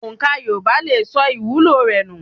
Òǹkà Yorùbá lè sọ ìwúlò rẹ nù.